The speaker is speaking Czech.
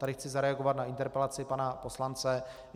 Tady chci zareagovat na interpelaci pana poslance.